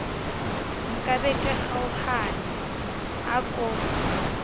nkabe ke kgaohana a ko